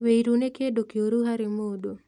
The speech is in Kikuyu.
Wĩiru nĩ kĩndũ kĩũru harĩ mũndũ